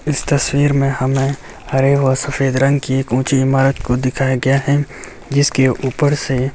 इस तस्वीर में हमें हरे व सफेद रंग के एक उची इमारत को दिखाया गया हे जिसके ऊपर से--